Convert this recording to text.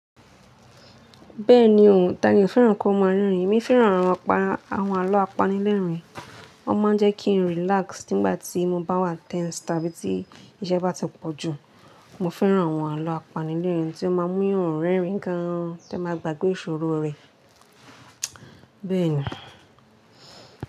Bẹ́ẹ̀ni o, Tani ò fẹ́ràn kí won máa rẹ́rìn-ín? Èmi fẹ́ràn àwọn àlọ́ apanilẹ́rìn-ín, wọ́n máa ń jẹ́ kí n relax nígbà tí mo bá wà tense tàbí tí iṣẹ́ bá ti pọ̀ jù. Mo fẹ́ràn àwọn àlọ́ apanilẹ́rìn-ín tí ó máa mú yan rẹ́rìn-ín gan-an, tí ẹyan máa gbàgbé ìṣòro rẹ. Bẹ́ẹ̀ni.